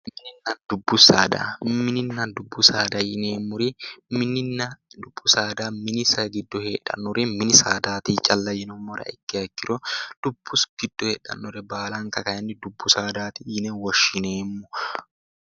Mininna dubbu saada mininna dubbu saada yineemmori mininna dubbu giddo heedhannori mini saadaati yinummoha ikkiro dubbu giddo heedhannore baalanka kayinni dubbu saadaati yine woshshineemmo